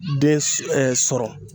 Den sɔrɔ